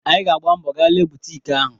Anyị ga-agba mbọ ga lee butik ahụ.